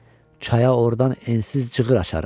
Çaya ordan ensiz cığır açarıq.